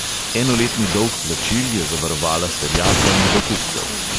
Enoletni dolg plačil je zavarovala s terjatvami do kupcev.